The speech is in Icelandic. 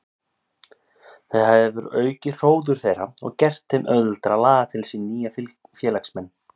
Það hefur aukið hróður þeirra og gert þeim auðveldara að laða til sín nýja félagsmenn.